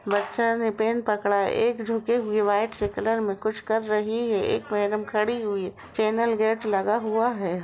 बच्चा ने पेन पकड़ा है। एक झुकी हुई व्हाइट सी कलर में कुछ कर रही है। एक मैडम खडी हुई ह। चैनल गेट लगा हुआ है‌।